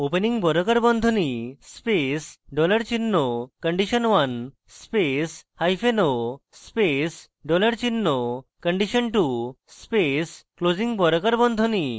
opening বর্গাকার বন্ধনী space dollar চিহ্ন condition1 space hyphen o space dollar চিহ্ন condition2 space closing বর্গাকার বন্ধনী